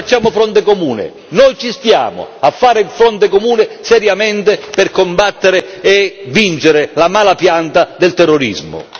Allora, facciamo fronte comune noi ci stiamo a fare il fronte comune seriamente per combattere e vincere la mala pianta del terrorismo.